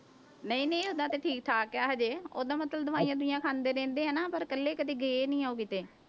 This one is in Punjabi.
ਨਹੀਂ ਨਹੀਂ ਓਦਾਂ ਤੇ ਠੀਕ ਠਾਕ ਹੈ ਹਜੇ, ਓਦਾਂ ਮਤਲਬ ਦਵਾਈਆਂ ਦਵੂਈਆਂ ਖਾਂਦੇ ਰਹਿੰਦੇ ਆ ਨਾ, ਪਰ ਇਕੱਲੇ ਕਦੇ ਗਏ ਨੀ ਉਹ ਕਿਤੇ।